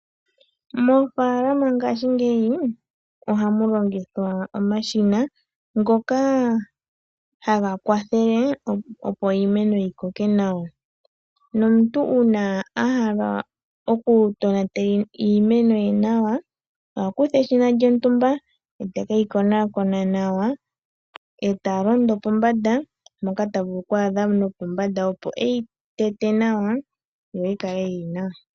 Mofaalama ngashingeyi ohamu longithwa omashina ngoka haga kwathele, opo iimeno yi koke nawa. Nomuntu uuna a hala oku tonatela iimeno ye nawa, oha kutha eshina lyontumba ete keyi koonakona nawa, eta londo pombanda mpoka ta vulu okwaadha nopombanda, opo eyi tete nawa yo yi kale yili nawa.